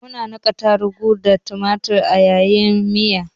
Muna niƙa tarugu da tumatur a yi miya.